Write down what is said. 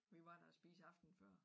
Vi var der og spise aftenen før